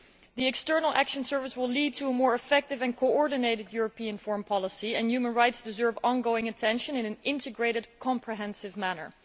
The External Action Service will lead to a more effective and coordinated European foreign policy, and human rights deserve ongoing attention in an integrated, comprehensive manner.